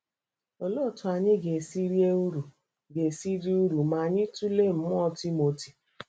Olee otú anyị ga-esi rite uru ga-esi rite uru ma anyị tụlee mmụọ Timoti?